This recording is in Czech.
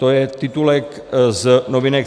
To je titulek z novinek.cz